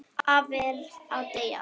Afi er að deyja.